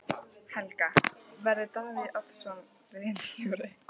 Helga: Verður Davíð Oddsson ritstjóri?